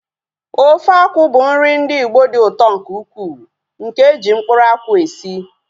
Ofe akwụ bụ nri ndị Igbo dị ụtọ nke ukwuu nke eji mkpụrụ akwụ esi